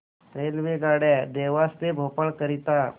रेल्वेगाड्या देवास ते भोपाळ करीता